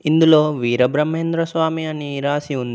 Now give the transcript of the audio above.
ఇందులో వీరబ్రహ్మేంద్ర స్వామి అని రాసి ఉంది.